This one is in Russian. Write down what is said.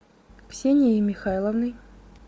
ксенией михайловной